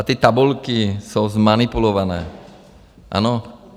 A ty tabulky jsou zmanipulované, ano?